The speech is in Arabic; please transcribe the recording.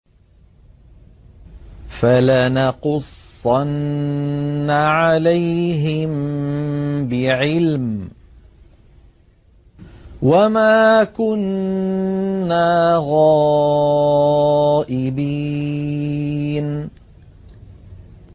فَلَنَقُصَّنَّ عَلَيْهِم بِعِلْمٍ ۖ وَمَا كُنَّا غَائِبِينَ